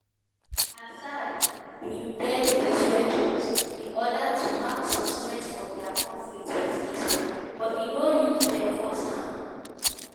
"assad bin get dis weapons in order to mark some strength for di conflict wit israel but e no use dem first hand.